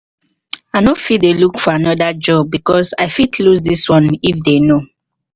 i no go fit dey dey look for another job because i fit loose this one if they know